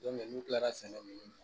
Don min n'u kilara sɛnɛ de ye